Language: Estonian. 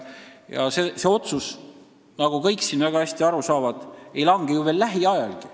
Ja see otsus, nagu siin kõik väga hästi aru saavad, ei lange ju lähiajal.